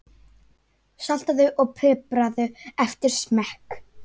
Saltaðu og pipraðu eftir smekk.